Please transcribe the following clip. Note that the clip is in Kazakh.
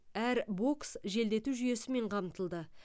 әр бокс желдету жүйесімен қамтылды